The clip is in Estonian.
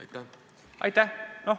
Aitäh!